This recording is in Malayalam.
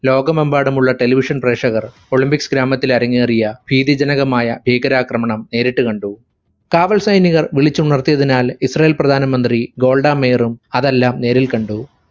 ലോകമെമ്പാടുമുള്ള television പ്രേക്ഷകർ olympics ഗ്രാമത്തിൽ അരങ്ങേറിയ ഭീതിജനകമായ ഭീകരാക്രമണം നേരിട്ട് കണ്ടു. കാവൽ സൈനികർ വിളിച്ചുണർത്തിയതിനാൽ ഇസ്രായേൽ പ്രധാനമന്ത്രി ഗോൾഡ മേയറും അതെല്ലാം നേരിൽ കണ്ടു.